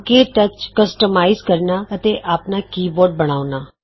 ਕੇ touch customise ਕਰਨਾ ਅਤੇ ਆਪਣਾ ਕੀਬੋਰਡ ਬਣਾਉਣਾ